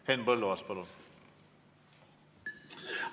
Henn Põlluaas, palun!